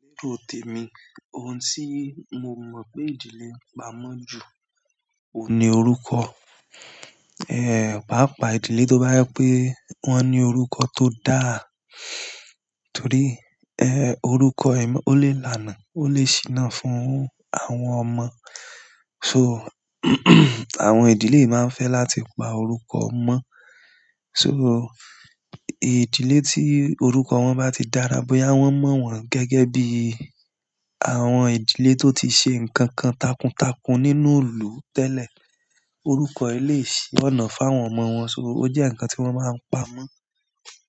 Lérò tèmi, ohun tí mo mọ̀ pé ìdílé ń pa mọ́ ju òun ni orúkọ. Pàápàá ìdílé tó bá jẹ pé wọ́n ní orúkọ tó dáa. Torí, orúkọ ó lè lanà, ó lè ṣìnà fún àwọn ọmọ. So àwọn ìdílé máa ń fẹ́ láti pa orúkọ mọ́. So ìdílé tí orúkọ wọn bá ti dára bóyá wọ́n mọ̀ wọ́n gẹ́gẹ́ bí àwọn ìdílé tó ti ṣe nǹkan takuntakun nínú ilù tẹ́lẹ̀. Orúkọ yi o le sì ọ́nà fún àwọn ọmọ wọn, ó jẹ́ ǹkan tí wọ́n máa ń pa mọ́.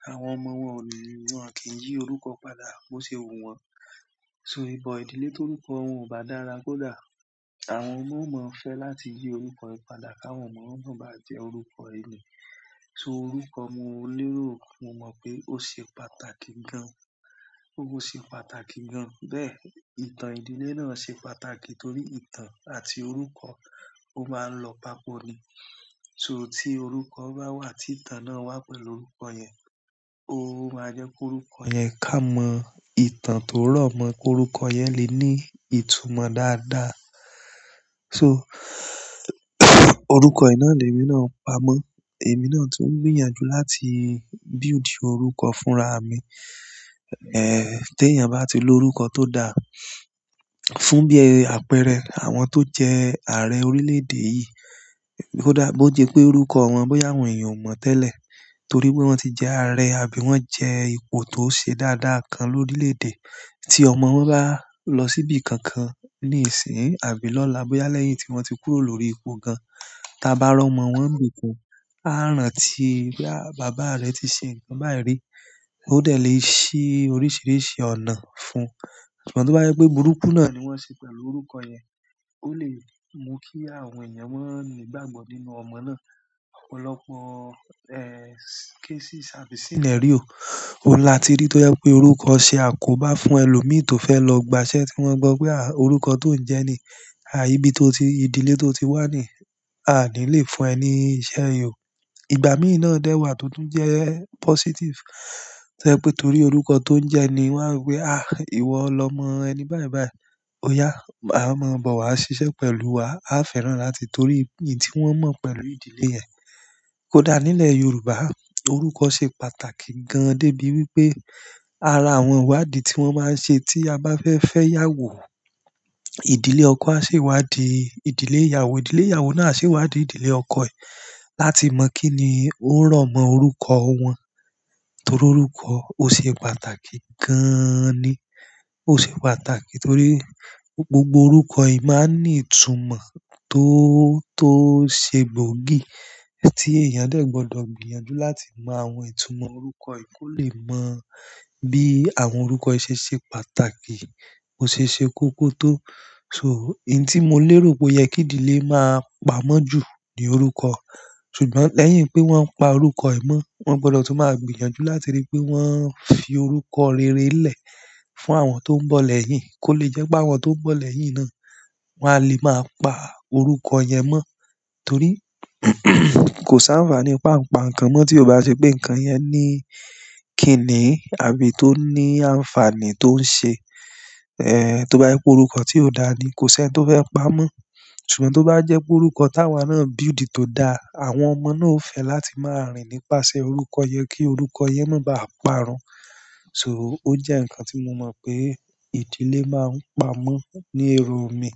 Àwọn ọmọ wọn ò lè wọ́n kì í yí orúkọ padà bó ṣe wu wọn. Ìdílé ti orúkọ wọn ò bá dára kódà àwọn ọmọ ò mọ́ fẹ́ láti yí orúkọ yìí padà káwọn ọmọ wọn náà bá jẹ́ orúkọ yi ni. So orúkọ mo lérò mo mọ̀ pé ó ṣe pàtàkì gan-an, ó ṣe pàtàkì gan-an. Bẹ́ẹ̀, ìtàn ìdílé náà ṣe pàtàkì torí ìtàn àti orúkọ ó máa ń lọ papọ̀ ni. So tí orúkọ bá wà tí ìtàn náà wà pẹ̀lú orúkọ yẹn, ó máa jẹ́ pé orúkọ yẹn ká mọ ìtàn tó rọ̀mọ́ pé orúkọ yẹn lè ní ìtumọ̀ dáadáa. So orúkọ yi ná lemi náà n pamọ́. Emí náà tún ń gbìyànjú láti build orúkọ fúnra mi. Tí èèyàn bá ti lorúkọ tó dáa fún bí i àpẹẹrẹ àwọn tó jẹ́ ààrẹ orílẹ̀-èdè yìí, kódà bó jẹ́ pé orúkọ wọn bóyá àwọn èèyàn ò mọ̀ tẹ́lẹ̀ torí pé wọ́n ti jẹ ààrẹ àbí wọ́n jẹ́ ipò tó ṣe dáadáa kan lorílẹ̀-èdè. Ti ọmọ wọn ba lọ si ibi kankan nisin àbí lọla boya lẹ́yìn ti wọn ti kúrò l'ori ipò gan taa ba ri ọmọ wọn nibi kan, a rántí pe baba rẹ̀ ti ṣe nkan bayi ri, o dẹ le ṣi oríṣiríṣi ọ̀nà fún ṣùgbọ́n to ba jẹ pe burúkú náà ni wọ́nṣe pẹ̀lú orúkọ yẹn, o le mu ki àwọn eeyan ma ni ìgbàgbọ́ nínú ọmọ náà. Ọ̀pọ̀lọpọ̀ cases àbí sìnẹrío. Ó n láti rí tó jẹ pé orúkọ ṣe àkóbá fún ẹlòmí tó fẹ́ lọ gba iṣẹ́ tí wọ́n gbọ́ pé orúkọ tó ń jẹ ni, ìbí tó ti, ìdílé tó ti wá ni, a ni lè fún ẹ ní ìṣe yìí o. Ìgbà mìí náà dẹ wà tó tún jẹ́ positive. To jẹ́ pe torí orúkọ to n jẹ ni wọ́n wo pe iwọ lọ́mọ ẹni bai bai. "Óyá, máa bọ̀ wá ṣiṣẹ́ pẹ̀lú wa. A fẹ́ràn láti torí un tí wọ́n mọ̀ pẹ̀lú ìdílé yẹn." Kódà nílẹ̀ Yorùbá, orúkọ ṣe pàtàkì gan-an dé bí wípé ara àwọn ìwádìí tí wọ́n máa ń ṣe tí a bá fẹ́ fẹ́ ìyàwó. Ìdílé ọkọ á ṣe ìwádìí ìdílé ìyàwó, ìdílé ìyàwó náà a ṣe ìwádìí ìdílé ọkọ rẹ̀ láti mọ̀ kín ní ó rọ̀mọ́ orúkọ wọn. Torí orúkọ ó ṣe pàtàkì gaaani. O ṣé pàtàkì torí gbogbo orúkọ yi maa n ni ìtumọ̀ to ṣe gbogi ti eeyan dẹ gbọdọ gbìyànjú láti mọ àwọn itumọ orúkọ yìí ko le mọ bi àwọn orúkọ yìí ṣe ṣe pàtàkì, bo ṣe ṣe kókó to in tí mo lérò pé ó yẹ kí ìdílé máa pa mọ́ ju ni orúkọ. Ṣùgbọ́n lẹ́yìn pe wọ́n n pa orúkọ yi mọ̀ wọn gbọdọ tun maa gbìyànjú láti ri pe wọ́n fi orúkọ rere lẹ̀ fún àwọn to n bọ lẹ́yìn ko le jẹ́ pe àwọn to n bọ lẹ́yìn náà wọ́n a lè maa pa orúkọ yẹn mọ. Torí kò sáǹfààní pa ǹ pa nkan mọ́ tí ó bá ṣe pé ǹkan yẹn ní kìní àbí tó ní àǹfààní tó ń ṣe. To ba jẹ orúkọ ti o daa ni ko sẹni to fẹ́ pamọ́. Ṣùgbọ́n tó bá jẹ́ pé orúkọ táwà náà build tó dáa, àwọn ọmọ náà ó fẹ́ láti máa rìn nípasẹ̀ orúkọ yẹn kí orúkọ yẹn máa ba à parun. So ó jẹ́ ǹkan tí mo mọ̀ pé ìdílé máa ń pa mọ́ ní ero mi.